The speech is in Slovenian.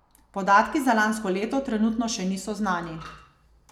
Podatki za lansko leto trenutno še niso znani.